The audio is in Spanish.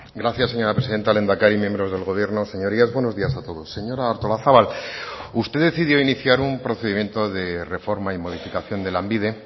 gracias señora presidenta lehendakari miembros del gobierno señorías buenos días a todos señora artolazabal usted decidió iniciar un procedimiento de reforma y modificación de lanbide